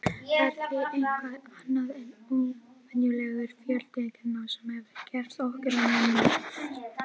Það er því eitthvað annað en óvenjulegur fjöldi gena sem hefur gert okkur að mönnum.